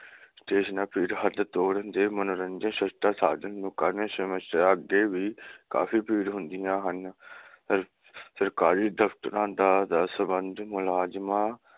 ਤੇ ਇਸ ਨਾਲ ਭੀੜ ਹੱਡ ਤੋੜਨ ਦੇ ਮਨੋਰੰਜਨ ਸਸਤਾ ਸਾਧਨ ਨੂੰ ਕਰਨ ਸਮਸਿਆ ਅੱਗੇ ਵੀ ਕਾਫੀ ਭੀੜ ਹੁੰਦੀਆਂ ਹਨ ਸਰਕਾਰੀ ਦਫਤਰਾਂ ਦਾ ਸੰਬੰਧ ਮੁਲਾਜਮਾਂ